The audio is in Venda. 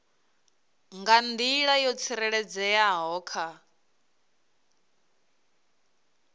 nga nḓila yo tsireledzeaho kha